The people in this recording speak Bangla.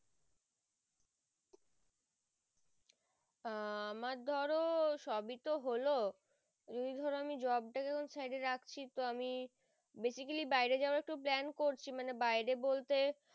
আহ আমার ধরো সবই তো হলো যদি ধরো আমি job টাকে ছেড়ে রাখছি তো আমি basically বাইরে যাবার একটু plan করছি মানে বাইরে বলতে